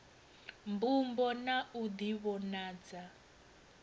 mbumbo na u di vhonadza